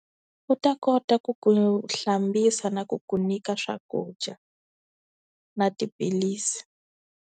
U ta kota ku ku hlambisa na ku ku nyika swakudya na tiphilisi.